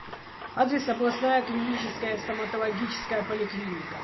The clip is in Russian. адрес областная клиническая стоматологическая поликлиника